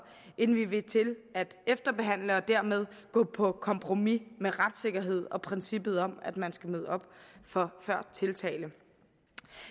end vi vil til at efterbehandle og dermed gå på kompromis med retssikkerheden og princippet om at man skal møde op før tiltale